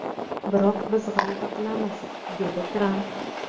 Biroq biz g‘alaba qilamiz”, dedi Tramp.